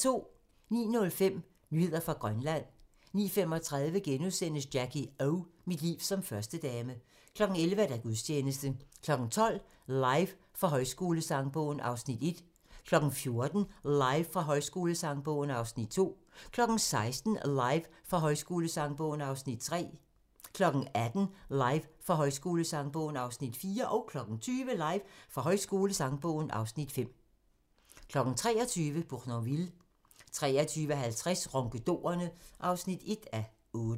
09:05: Nyheder fra Grønland 09:35: Jackie O - Mit liv som førstedame * 11:00: Gudstjeneste 12:00: Live fra Højskolesangbogen (Afs. 1) 14:00: Live fra Højskolesangbogen (Afs. 2) 16:00: Live fra Højskolesangbogen (Afs. 3) 18:00: Live fra Højskolesangbogen (Afs. 4) 20:00: Live fra Højskolesangbogen (Afs. 5) 23:00: Bournonville 23:50: Ronkedorerne (1:8)